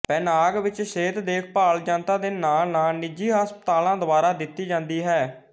Penang ਵਿੱਚ ਸਿਹਤ ਦੇਖਭਾਲ ਜਨਤਾ ਦੇ ਨਾਲ ਨਾਲ ਨਿਜੀ ਹਸਪਤਾਲਾਂ ਦੁਆਰਾ ਦਿੱਤੀ ਜਾਂਦੀ ਹੈ